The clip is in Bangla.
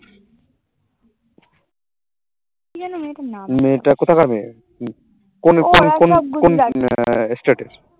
কি যেন মেয়েটার নাম